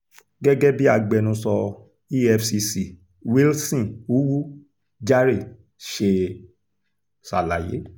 gẹ́gẹ́ bí agbẹnusọ efcc wilson uwu jahre ṣe ṣàlàyé